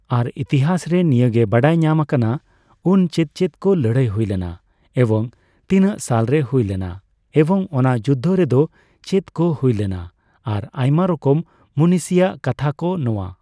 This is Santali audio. ᱟᱨ ᱤᱛᱤᱦᱟᱥ ᱨᱮ ᱱᱤᱭᱟᱹᱜᱮ ᱵᱟᱲᱟᱭ ᱧᱟᱢ ᱟᱠᱟᱱᱟ, ᱩᱱ ᱪᱮᱫ ᱪᱮᱫ ᱠᱚ ᱞᱟᱹᱲᱦᱟᱹᱭ ᱦᱩᱭ ᱞᱮᱱᱟ, ᱮᱵᱚᱝ ᱛᱤᱱᱟᱹᱜ ᱥᱟᱞ ᱨᱮ ᱦᱩᱭ ᱞᱮᱱᱟ, ᱮᱵᱚᱝ ᱚᱱᱟ ᱡᱩᱫᱽᱫᱷᱚ ᱨᱮᱫᱚ ᱪᱮᱜ ᱠᱚ ᱦᱩᱭ ᱞᱮᱱᱟ ᱾ᱟᱨ ᱟᱭᱢᱟ ᱨᱚᱠᱚᱢ ᱢᱩᱱᱤᱥᱤᱭᱟᱜ ᱠᱟᱛᱷᱟ ᱠᱚ ᱱᱚᱣᱟ